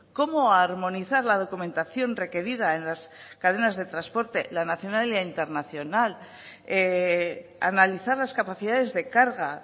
cómo armonizar la documentación requerida en las cadenas de transporte la nacional y la internacional analizar las capacidades de carga